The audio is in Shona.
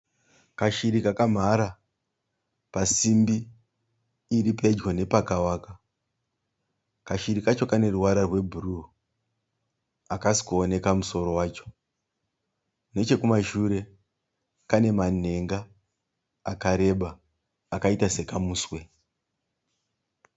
Kashiri kakamhara pasindi iri pedyo nepakawaka. Kashiri kacho kane ruvara rwe bhuruu hakasi kuoneka musoro wacho. Nechekumashure kane manhenga akareba akaita sekamuswe.